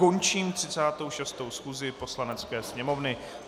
Končím 36. schůzi Poslanecké sněmovny.